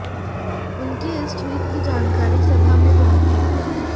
उनके इस ट्वीट की जानकारी सभा में भी पहुंची